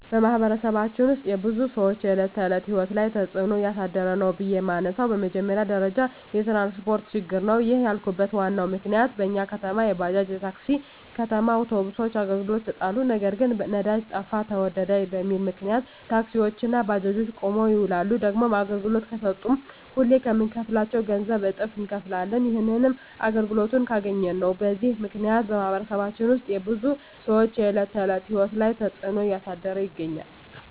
በማኅበረሰባችን ውስጥ የብዙ ሰዎች የዕለት ተዕለት ሕይወት ላይ ትጽእኖ እያሳደረ ነው ብዬ የመነሣው በመጀመሪያ ደረጃ የትራንስፓርት ችግር ነው። ይህንን ያልኩበት ዋናው ምክንያት በኛ ከተማ የባጃጅ፣ የታክሲ፣ የከተማ አውቶቢሶች አገልግሎት ይሠጣሉ። ነገር ግን ነዳጅ ጠፋ ተወደደ በሚል ምክንያት ታክሲዎች እና ባጃጆች ቁመው ይውላሉ። ደግሞም አገልግሎት ከሠጡም ሁሌ ከምንከፍለው ገንዘብ እጥፍ እነከፍላለን። ይህንንም አገልግሎቱን ካገኘን ነው። በዚህ ምክንያት በማኅበረሰባችን ውስጥ የብዙ ሰዎች የዕለት ተዕለት ሕይወት ላይ ትጽእኖ እያሳደረ ይገኛል።